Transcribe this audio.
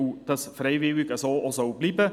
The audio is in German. Dies soll freiwillig bleiben.